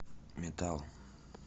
метал